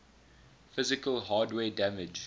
physical hardware damage